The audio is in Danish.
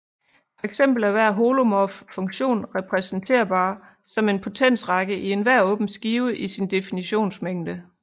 Fx er hver holomorf funktion repræsenterbar som en potensrække i enhver åben skive i sin definitionsmængde